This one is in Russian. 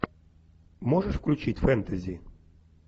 можешь включить фэнтези